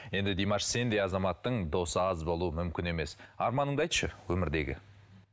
енді димаш сендей азаматтың досы аз болу мүмкін емес арманыңды айтшы өмірдегі